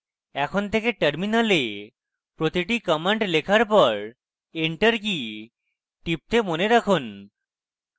এখন থেকে terminal প্রতিটি command লেখার পর enter key টিপতে মনে রাখুন